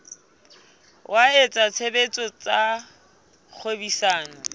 wa etsa tshebetso tsa kgwebisano